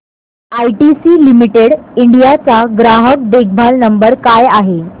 ITC limited India चा ग्राहक देखभाल नंबर काय आहे